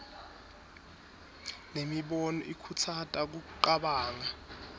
nemibono ikhutsata kucabanga